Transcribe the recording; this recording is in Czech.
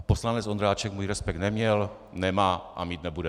A poslanec Ondráček můj respekt neměl, nemá a mít nebude.